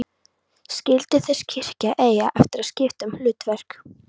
Skyldi þessi kirkja eiga eftir að skipta um hlutverk?